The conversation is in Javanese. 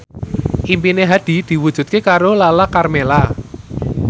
impine Hadi diwujudke karo Lala Karmela